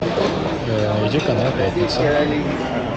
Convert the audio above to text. найди канал пятница